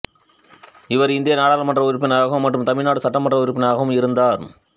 இவர் இந்திய நாடாளுமன்ற உறுப்பினராகவும் மற்றும் தமிழ்நாடு சட்டமன்ற உறுப்பினராகவும் இருந்தார்